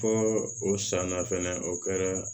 Fɔ o san na fɛnɛ o kɛra